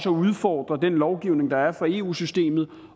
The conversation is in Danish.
udfordre den lovgivning der er fra eu systemet